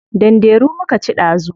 Danderu muka ci dazu.